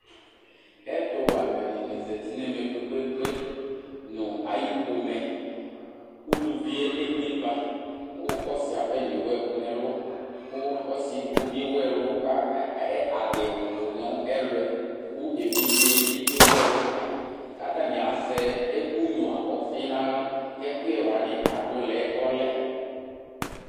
Ɛtu wɛ aluɛdini zati nu ɛmɛ kpekpekpe kpekpe nu ayu pomɛ uluvi ebo iba ku ɔsi apɛnɔ éwu ɛku nu ɛlu ku ɔsi edigbo di adiwu tu nu ɛlu ku evidze bi ewu ɛlu kayi ku atani azɛ ɛku nya ɔfi nu aɣla ɛkuyɛ wani adu lɛ ɔlɛ